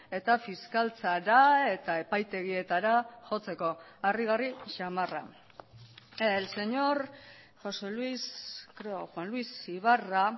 eta fiskaltzara eta epaitegietara jotzeko harrigarri samarra el señor josé luis creo o juan luis ibarra